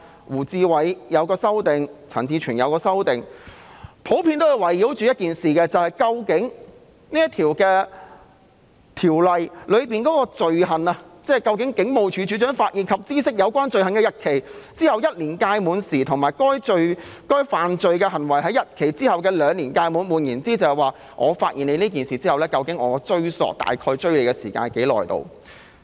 胡志偉議員和陳志全議員也提出了修正案，內容普遍是圍繞《條例草案》中"警務處處長發現或知悉有關罪行的日期之後1年屆滿時"及"犯該罪行的日期之後2年屆滿時"，即發現有關罪行後的追溯期大約有多長。